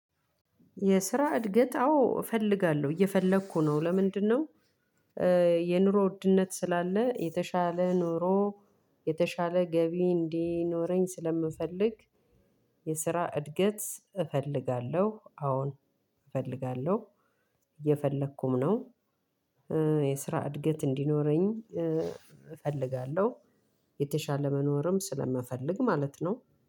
የስራ እድገት አዎ እፈልጋለሁ እየፈለኩ ነው ለምንድነው? የኑሮ ውድነት ስላለ የተሻለ ኑሮ የተሻለ ገቢ እንዲኖረኝ ስለምፈልግ። የስራ እድገት እፈልጋለሁ አዎን እፈልጋለሁ እየፈለኩም ነው። የስራ እድገት እንዲኖረኝ እፈልጋለሁ። የተሻለ መኖርም ስለምፈልግ ማለት ነው።